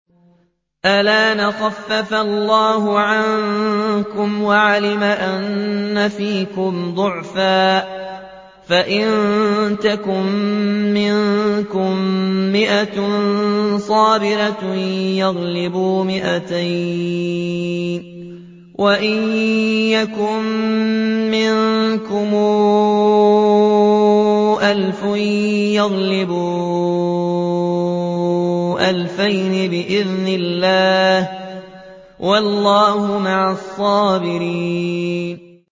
الْآنَ خَفَّفَ اللَّهُ عَنكُمْ وَعَلِمَ أَنَّ فِيكُمْ ضَعْفًا ۚ فَإِن يَكُن مِّنكُم مِّائَةٌ صَابِرَةٌ يَغْلِبُوا مِائَتَيْنِ ۚ وَإِن يَكُن مِّنكُمْ أَلْفٌ يَغْلِبُوا أَلْفَيْنِ بِإِذْنِ اللَّهِ ۗ وَاللَّهُ مَعَ الصَّابِرِينَ